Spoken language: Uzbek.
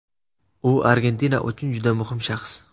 U Argentina uchun juda muhim shaxs.